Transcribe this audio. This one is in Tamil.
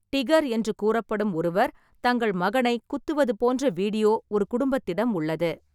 "டிகர்" என்று கூறப்படும் ஒருவர் தங்கள் மகனைக் குத்துவது போன்ற வீடியோ ஒரு குடும்பத்திடம் உள்ளது.